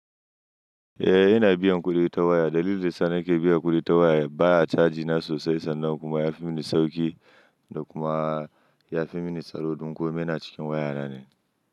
Eh, ina biyan kuɗi ta waya. Dalilin da suna ke biyan kuɗi ta waya baya caji na sosai sannan kuma yafi mini sauƙi da kuma yafi mini tsaro ɗin ko ina cikin waya na ne.